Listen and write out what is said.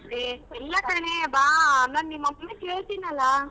ಹೇ ಇಲ್ಲ ಕಣೆ ಬಾ ನಾನ್ ನಿಮ್ ಅಪ್ಪನ ಕೇಳತಿನಲ್ಲ.